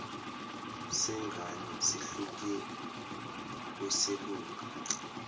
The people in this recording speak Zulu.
sengane sihlukile kweselunga